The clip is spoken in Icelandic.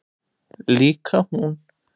Líka hún.